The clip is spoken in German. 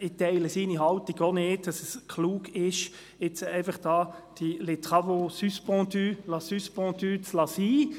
Ich teile seine Haltung auch nicht, wonach es klug sei, «les travaux suspendus», «supendus» sein zu lassen.